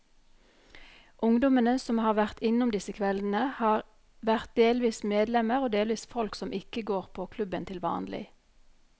Ungdommene som har vært innom disse kveldene, har vært delvis medlemmer og delvis folk som ikke går på klubben til vanlig.